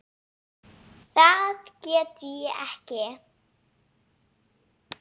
Það get ég ekki